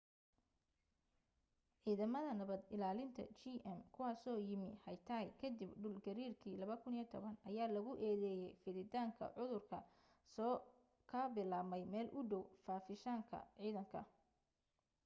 ciidamada nabad ilaalinta qm kuwaasoo yimi haiti ka dib dhul gariirkii 2010 ayaa lagu eedeeyay fiditaanka cudurka kaa soo ka bilaabmay meel u dhow fadhiisinka ciidanka